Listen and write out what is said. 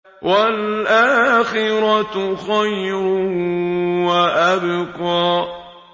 وَالْآخِرَةُ خَيْرٌ وَأَبْقَىٰ